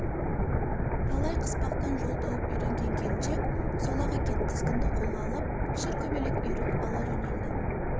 талай қыспақтан жол тауып үйренген келіншек сол-ақ екен тізгінді қолға алып шыркөбелек үйіріп ала жөнелді